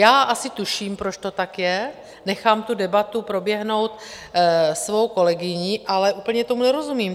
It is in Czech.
Já asi tuším, proč to tak je, nechám tu debatu proběhnout svou kolegyní, ale úplně tomu nerozumím.